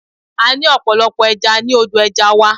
A ní ọ̀pọ̀lọpọ̀ ẹja ní odò ẹja wa.